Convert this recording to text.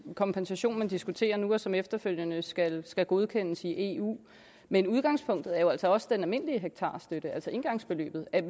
kompensation man diskuterer nu og som efterfølgende skal skal godkendes i eu men udgangspunktet er også også den almindelige hektarstøtte altså engangsbeløbet er